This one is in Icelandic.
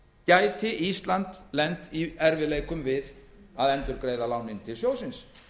gæti ísland lent í erfiðleikum við að endurgreiða lánið til sjóðsins